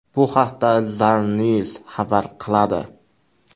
Bu haqda Zarnews xabar qiladi .